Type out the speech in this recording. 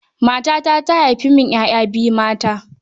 Matata ta haifa min 'ya'ya biyu mata.